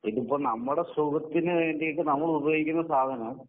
ഇതിപ്പം നമ്മടെ സുഖത്തിനു വേണ്ടിയിട്ട്